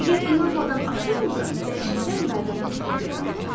Əgər inanmadan açırdımsa, dəhşətdən mədəmdə sıxıntı yaranırdı.